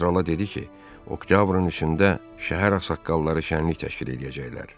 Kardinal krala dedi ki, oktyabrın 3-də şəhər ağsaqqalları şənlik təşkil eləyəcəklər.